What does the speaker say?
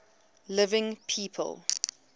living people